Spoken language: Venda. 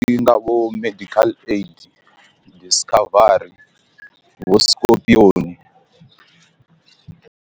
Ndi nga vho medical aid discovery vho skopioni.